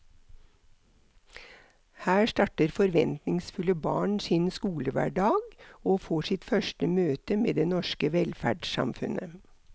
Her starter forventningsfulle barn sin skolehverdag og får sitt første møte med det norske velferdssamfunnet.